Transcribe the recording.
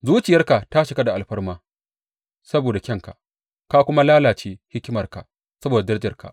Zuciyarka ta cika da alfarma saboda kyanka, ka kuma lalace hikimarka saboda darajarka.